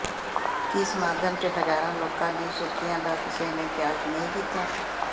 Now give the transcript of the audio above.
ਕੀ ਸਮਾਗਮ ਚ ਹਜ਼ਾਰਾਂ ਲੋਕਾਂ ਦੀ ਸੁਰੱਖਿਆ ਦਾ ਕਿਸੇ ਨੇ ਖਿਆਲ ਨਹੀਂ ਕੀਤਾ